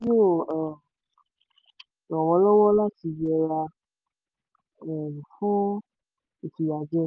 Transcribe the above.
ràn wọ́n lọ́wọ́ láti yẹra um fún ìfiyàjẹni.